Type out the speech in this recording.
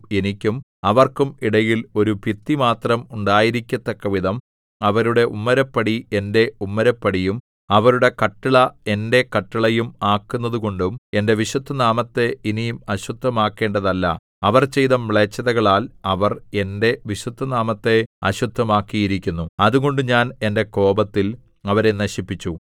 എനിക്കും അവർക്കും ഇടയിൽ ഒരു ഭിത്തി മാത്രം ഉണ്ടായിരിക്കത്തക്കവിധം അവരുടെ ഉമ്മരപ്പടി എന്റെ ഉമ്മരപ്പടിയും അവരുടെ കട്ടിള എന്റെ കട്ടിളയും ആക്കുന്നതുകൊണ്ടും എന്റെ വിശുദ്ധനാമത്തെ ഇനി അശുദ്ധമാക്കേണ്ടതല്ല അവർ ചെയ്ത മ്ലേച്ഛതകളാൽ അവർ എന്റെ വിശുദ്ധനാമത്തെ അശുദ്ധമാക്കിയിരിക്കുന്നു അതുകൊണ്ട് ഞാൻ എന്റെ കോപത്തിൽ അവരെ നശിപ്പിച്ചു